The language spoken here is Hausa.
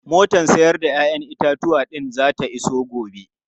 Motar 'ya'yan itatuwan din zata iso gobe.